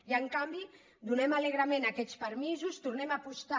i en canvi donem alegrement aquests permisos tornem a apostar